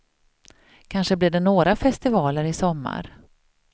Kanske blir det några festivaler i sommar.